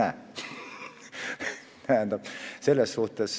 Aitäh, proua õiguskantsler!